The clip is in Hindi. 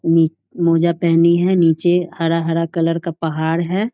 नी मोजा पहेनी है नीचे हरा-हरा कलर का पहाड़ है।